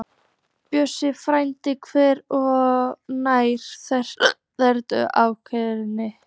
Björgin færðust nær og þrengdu að ánni.